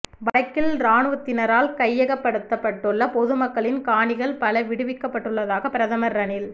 வடக்கில் இராணுவத்தினரினால் கையகப்படுத்தப்பட்டுள்ள பொது மக்களின் காணிகள் பல விடுவிக்கப்படவுள்ளதாக பிரதமர் ரணில்